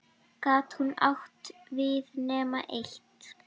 Gat hún átt við nema eitt?